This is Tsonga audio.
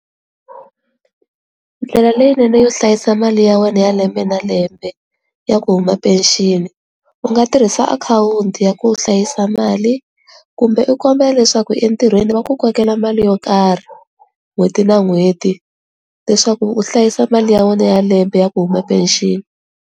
Ndlela leyinene yo hlayisa mali ya wena ya lembe na lembe ya ku huma pension u nga tirhisa akhawunti ya ku hlayisa mali kumbe u kombela leswaku entirhweni va ku kokela mali yo karhi n'hweti na n'hweti leswaku u hlayisa mali ya wena ya lembe ya ku huma pension.